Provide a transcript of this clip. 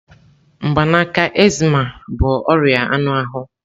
Mgbanaka, eczema bụ ọrịa anụ ahụ.